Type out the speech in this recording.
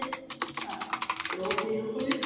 Reinar, er opið í Háskóla Íslands?